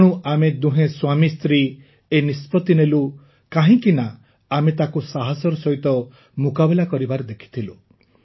ତେଣୁ ଆମେ ଦୁହେଁ ସ୍ୱାମୀ ସ୍ତ୍ରୀ ଏହି ନିଷ୍ପତି ନେଲୁ କାହିଁକିନା ଆମେ ତାକୁ ସାହସର ସହିତ ମୁକାବିଲା କରିବା ଦେଖିଥିଲୁ